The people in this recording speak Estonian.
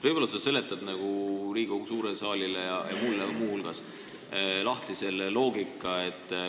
" Võib-olla sa seletad Riigikogu suurele saalile ja sealhulgas ka mulle selle loogika lahti.